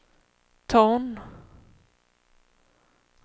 ton